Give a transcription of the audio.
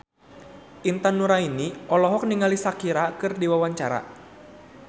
Intan Nuraini olohok ningali Shakira keur diwawancara